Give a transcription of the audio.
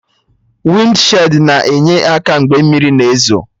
Wịndshid na-enye aka mgbe mmiri na ezo